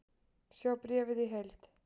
Sjá bréfið í heild